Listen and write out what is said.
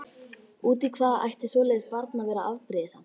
Út í hvað ætti svoleiðis barn að vera afbrýðisamt?